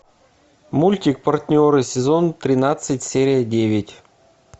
мультик партнеры сезон тринадцать серия девять